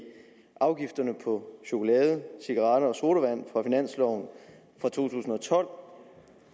afgifterne på chokolade cigaretter og sodavand på finansloven for to tusind og tolv